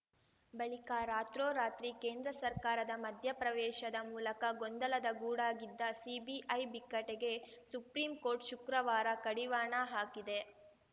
ಬಳಿಕ ರಾತ್ರೋರಾತ್ರಿ ಕೇಂದ್ರ ಸರ್ಕಾರದ ಮಧ್ಯಪ್ರವೇಶದ ಮೂಲಕ ಗೊಂದಲದ ಗೂಡಾಗಿದ್ದ ಸಿಬಿಐ ಬಿಕ್ಕಟ್ಟಿಗೆ ಸುಪ್ರೀಂಕೋರ್ಟ್‌ ಶುಕ್ರವಾರ ಕಡಿವಾಣ ಹಾಕಿದೆ